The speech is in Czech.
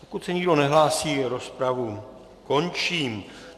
Pokud se nikdo nehlásí, rozpravu končím.